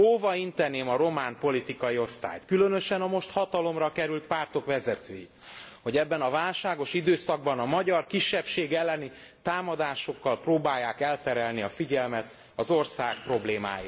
Óva inteném a román politikai osztályt, különösen a most hatalomra került pártok vezetőit, hogy ebben a válságos időszakban a magyar kisebbség elleni támadásokkal próbálják elterelni a figyelmet az ország problémáiról.